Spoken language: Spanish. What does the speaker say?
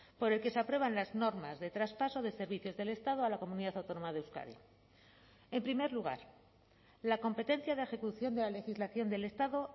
por el que se aprueban las normas de traspaso de servicios del estado a la comunidad autónoma de euskadi en primer lugar la competencia de ejecución de la legislación del estado